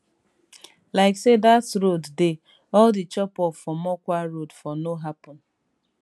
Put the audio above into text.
like say dat road dey all di chopoff for mokwa road for no happun